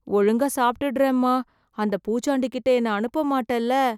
ஒழுங்கா சாப்ட்டுடறேன்மா.. அந்த பூச்சாண்டிகிட்ட என்ன அனுப்பமாட்டல்ல...